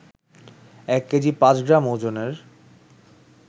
এক কেজি পাঁচ গ্রাম ওজনের